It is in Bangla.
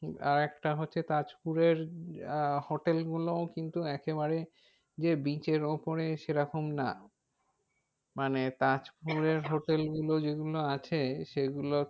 আর একটা হচ্ছে তাজপুরের আহ hotel গুলো কিন্তু একেবারে যে bridge এর ওপরে সেরকম না। মানে তাজপুরের hotel গুলো যে গুলো আছে সে গুলো